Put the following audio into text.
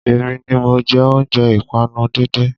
Èmi ni mọ jẹ́ oúnjẹ ìpànu díndín